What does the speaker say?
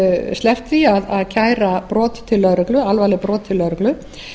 sleppt því að kæra alvarleg brot til lögreglu